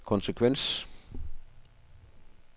konsekvens